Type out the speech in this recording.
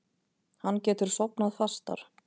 Hann getur sofnað fastar.